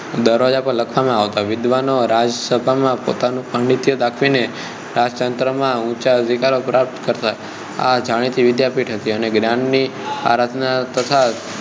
દરવાજા પર લખવામાં આવતા વિદ્વાનો રાજસભા માં પોતાનું પાંડિત્ય દાખવી ને રાજતંત્રો માં ઊંચા અધિકારો પ્રાપ્ત કરતા આ જાણીતી વિદ્યાપીઠ હતી અને જ્ઞાન ની આરાધના તથા